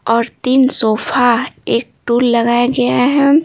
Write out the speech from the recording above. और तीन सोफा एक टूल लगाया गया हैं।